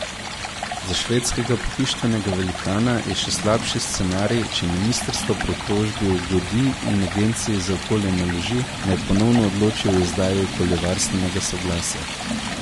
Za švedskega pohištvenega velikana je še slabši scenarij, če ministrstvo pritožbi ugodi in agenciji za okolje naloži, naj ponovno odloči o izdaji okoljevarstvenega soglasja.